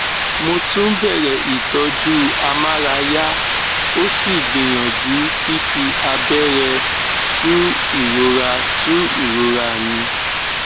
mo tún bẹrẹ ìtọjú amárayá ó sì gbìyàjú fífi abẹrẹ tu ìrora tu ìrora mi